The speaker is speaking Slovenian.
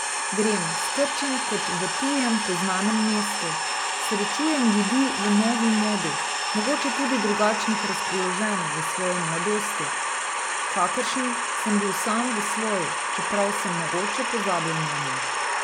Grem skrčen kot v tujem, poznanem mestu, srečujem ljudi v novi modi, mogoče tudi drugačnih razpoloženj v svoji mladosti, kakršen sem bil sam v svoji, čeprav sem mogoče pozabil nanjo.